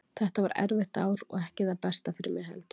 Þetta var erfitt ár og ekki það besta fyrir mig heldur.